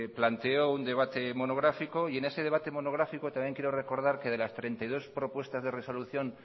planteó un debate monográfico y en ese debate monográfico también creo recordar que de las treinta y dos propuestas de resolución